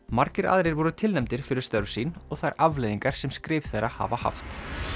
margir aðrir voru tilnefndir fyrir störf sín og þær afleiðingar sem skrif þeirra hafa haft